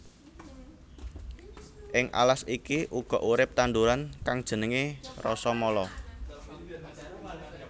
Ing alas iki uga urip tanduran kang jenengé Rasamala